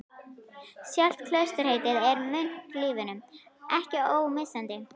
Sjálft klausturheitið er munklífinu ekki ómissandi.